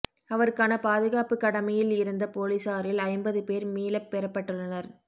அவருக்கான பாதுகாப்புக் கடமையில் இருந்த போலீசாரில் ஐம்பது பேர் மீளப் பெறப்பட்டுளனர்